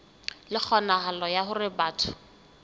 le kgonahalo ya hore batho